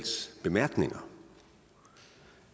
noget